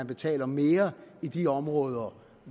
betaler mere i de områder